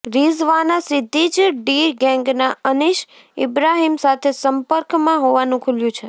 રિઝવાના સીધી જ ડી ગેંગના અનીશ ઇબ્રાહીમ સાથે સંપક્રમાં હોવાનું ખૂલ્યું છે